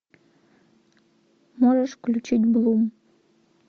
можешь включить блум